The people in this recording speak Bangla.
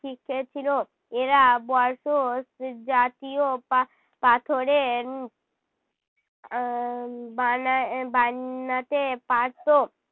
শিখেছিল। এরা জাতীয় পা~ পাথরের আহ বানায়~ বান্নাতে পারতো।